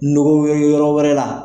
Ɲɔro were, yɔrɔ wɛrɛ la.